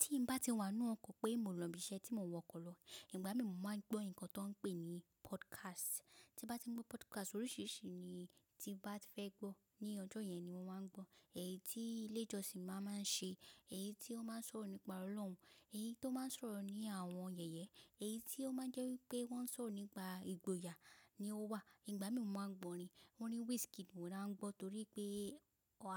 Tí mo bá ti wà nínú ọkọ̀ pé mo nlọ ibi iṣẹ́ tí mo wọkọ̀ lọ, ìgbà mí mo máa ń gbọ́ nǹkan tó ń pè ní podcast. Tí mo bá ti ń gbọ́ podcast oríṣìíríṣìí ni tí bá ti fẹ́ gbọ́ ní ọjọ́ yẹn ni mo máa ń gbọ́. Èyí tí ilé ìjọsìn máa ń ṣe, èyí tí ó máa ń sọ̀rọ̀ nípa Ọlọ́run, èyí tó máa ń sọ̀rọ̀ ní àwọn yẹ̀yẹ́, èyí tí ó máa ń jẹ́ wípé wọ́n ń sọ̀rọ̀ nípa ìgboyà ni ó wà. Ìgbà mí mo máa ń gbọ̀ orin. Orin Wizkid mó la ń gbọ́ torí pé